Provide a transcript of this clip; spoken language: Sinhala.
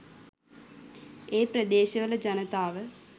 ඒ ප්‍රදේශවල ජනතාව